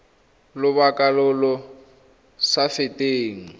lobaka lo lo sa feteng